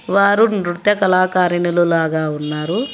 వారు నృత్య కళాకారులు లాగా ఉన్నారు.